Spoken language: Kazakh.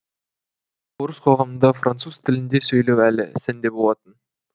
орыс қоғамында француз тілінде сөйлеу әлі сәнде болатын